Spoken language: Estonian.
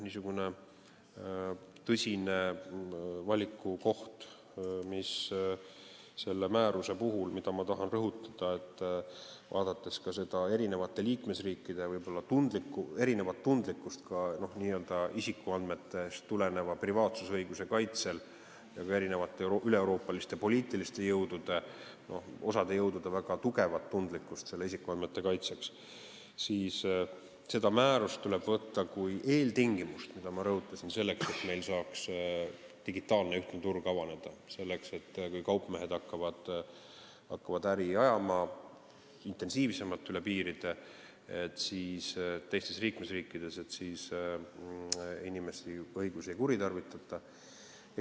Teine tõsine valikukoht, mida ma selle määruse puhul tahan rõhutada, on see, et vaadates eri liikmesriikide võib-olla erinevat tundlikkust ka n-ö isikuandmetest tuleneva privaatsusõiguse kaitsel ja osa üleeuroopaliste poliitiliste jõudude väga tugevat tundlikkust isikuandmete kaitsega seoses, tuleb seda määrust võtta kui eeltingimust selleks – ma seda rõhutasin –, et meil saaks avaneda digitaalne ühtne turg, nii et kui kaupmehed hakkavad intensiivsemalt üle piiride äri ajama, siis teistes liikmesriikides inimeste õigusi ei kuritarvitataks.